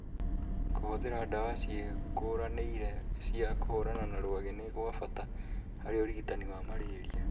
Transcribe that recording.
Kũhũthĩra ndawa ciĩkũranĩire cia kũhũrana na rwagĩ nĩ gwa bata harĩ ũrigitani wa marĩria